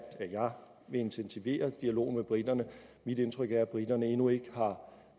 at jeg vil intensivere dialogen med briterne mit indtryk er at briterne endnu ikke har